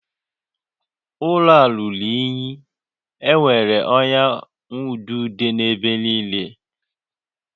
Ụlọ a ruru unyi, enwere ọnya nwaududo n'ebe niile